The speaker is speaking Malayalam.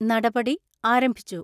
നടപടി ആരംഭിച്ചു.